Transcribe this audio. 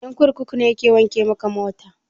Ƴan kurkuku ne ke wanke maka mota?